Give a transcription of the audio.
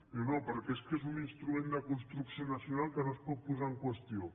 diu no perquè és que és un instrument de construcció nacional que no es pot posar en qüestió